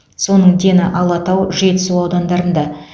соның дені алатау жетісу аудандарында